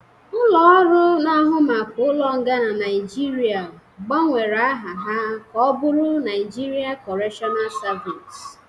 Ulo-ọru na ahụ maka ụlo nga na Nigeria gba nwere aha ha ka ọbụrụ Naijiria kọretional servịce